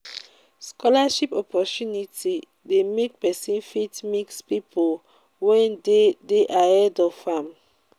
scholarship opportunity de make persin fit mix pipo wey de de ahead of am